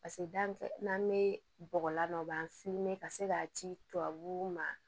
Paseke da n'an be bɔgɔ la ka se k'a ci tubabuw ma